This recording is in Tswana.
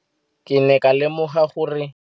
Ke ne ka lemoga gape gore